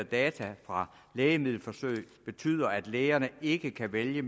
data fra lægemiddelforsøg betyder at lægerne ikke kan vælge